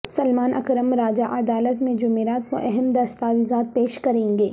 سلمان اکرم راجہ عدالت میں جمعرات کو اہم دستاویزات پیش کریں گے